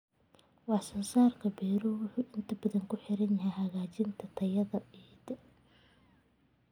Wax soo saarka beeruhu wuxuu inta badan ku xiran yahay hagaajinta tayada ciidda.